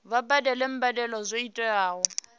vha badele mbadelo dzo tiwaho